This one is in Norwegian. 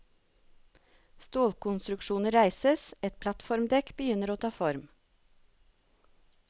Stålkonstruksjoner reises, et plattformdekk begynner å ta form.